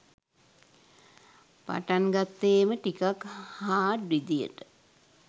පටන් ගත්තේම ටිකක් හාඩ් විදිහට.